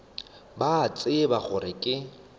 ba a tseba gore ke